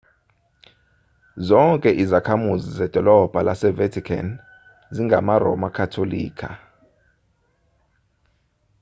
zonke izakhamuzi zedolobha lasevatican zingamaroma katolika